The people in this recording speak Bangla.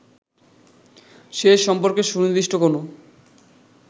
সে সম্পর্কে সুনির্দিষ্ট কোনো